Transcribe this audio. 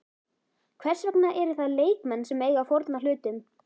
Hvers vegna eru það leikmenn sem eiga að fórna hlutum?